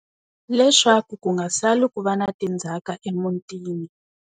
Leswaku ku nga sali ku va na tindzhaka emutini.